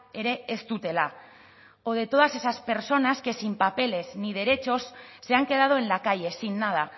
ere ez dutela o de todas esas personas que sin papeles ni derechos se han quedado en la calle sin nada